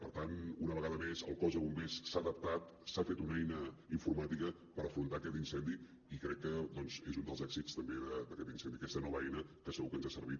per tant una vegada més el cos de bombers s’ha adaptat s’ha fet una eina informàtica per afrontar aquest incendi i crec que doncs és un dels èxits també d’aquest incendi aquesta nova eina que segur que ens ha servit